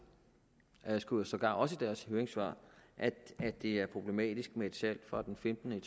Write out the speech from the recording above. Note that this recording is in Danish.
skriver sågar også i deres høringssvar at det er problematisk med et salg fra den femtende